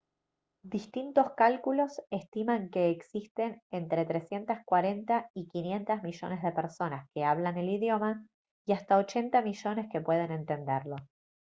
distintos cálculos estiman que existen entre 340 y 500 millones de personas que hablan el idioma y hasta 800 millones que pueden entenderlo